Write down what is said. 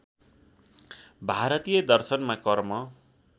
भारतीय दर्शनमा कर्म